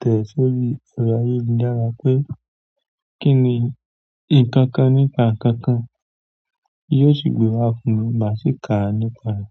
tẹ̀ sórí ẹ̀rọ ayélujára pé kí ni nǹkan kan nípa ǹnkan kan yóò sì gbé wá fún mi maà sí kàa nípa rẹ̀.